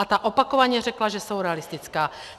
A ta opakovaně řekla, že jsou realistická.